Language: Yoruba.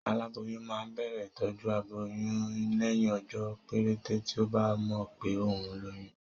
Aláboyún máa ń bẹ̀rẹ̀ ìtọjú aboyún lẹ́yìn ọjọ́ péréte tí ọ́ bá mọ̀ pé òun lóyún